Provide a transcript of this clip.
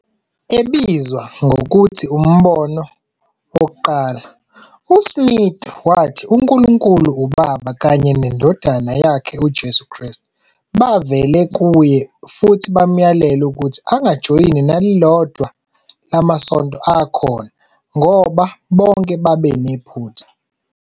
Ebizwa ngokuthi " Umbono Wokuqala ", uSmith wathi uNkulunkulu uBaba kanye nendodana yakhe uJesu Kristu bavele kuye futhi bamyalela ukuthi angajoyini nelilodwa lamasonto akhona ngoba bonke babenephutha.